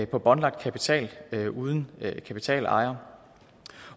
på båndlagt kapital uden kapitalejer